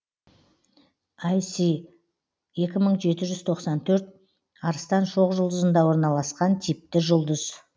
іс екі мың жеті жүз тоқсан төрт арыстан шоқжұлдызында орналасқан типті жұлдыз